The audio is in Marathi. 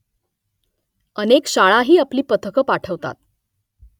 अनेक शाळाही आपली पथकं पाठवतात